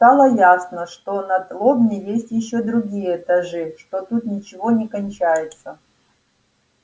стало ясно что над лобней есть ещё другие этажи что тут ничего не кончается